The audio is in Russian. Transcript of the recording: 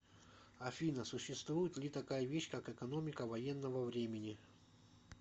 афина существует ли такая вещь как экономика военного времени